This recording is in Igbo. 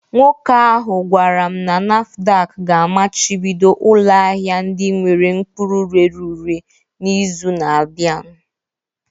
Nwoke ahụ gwara m na NAFDAC ga-amachibido ụlọ ahịa ndị nwere mkpụrụ rere ure n'izu na-abịa